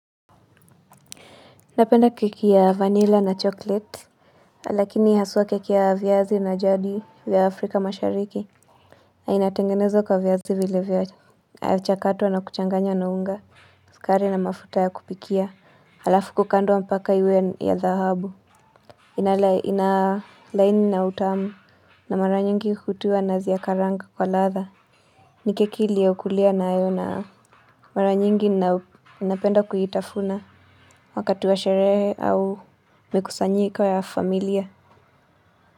Napenda keki ya vanilla na chocolate, lakini haswa keki ya viazi na jadi vya Afrika mashariki. Inatengenezwa kwa viazi vile vya chakatwa na kuchanganya na unga, sukari na mafuta ya kupikia. Halafu kukandwa mpaka iwe ya dhahabu. Inalaini na utamu na mara nyingi hutiwa nazi ya karanga kwa ladha. Ni keki lioukulia nayo na mara nyingi na napenda kuitafuna wakati wa sherehe au mikusanyiko ya familia.